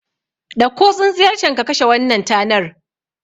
Ɗauko tsintsiyar can ka kashe wannan tanar